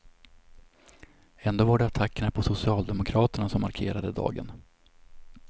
Ändå var det attackerna på socialdemokraterna som markerade dagen.